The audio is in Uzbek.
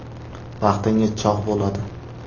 Vaqtingiz chog‘ bo‘ladi!